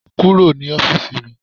Kúrò ní ọ́fíìsì mi.